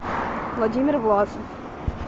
владимир власов